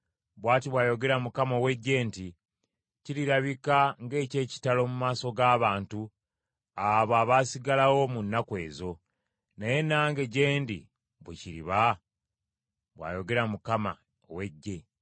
Bw’ati bw’ayogera Mukama ow’Eggye nti, “Kirirabika ng’eky’ekitalo mu maaso g’abantu abo abaasigalawo mu nnaku ezo, naye nange gye ndi bwe kiriba?” bw’ayogera Mukama ow’Eggye.